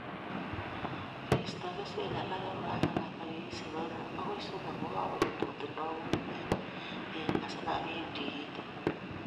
Keistoi kesweek alage kokebata wikishek oeng'u agoi somok kokarut kotindoi nyung'unyek beek asimakiim tikitik